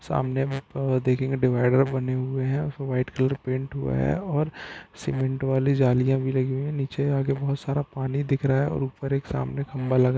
सामने देखेंगे डिवाइडर बने हुए है व्हाइट कलर पेंट हुआ है और सीमेंट वाली जालिया भी लगी हुई है और नीचे जाके बहुत सारा पानी दिख रहा है और ऊपर एक सामने खम्बा लगा --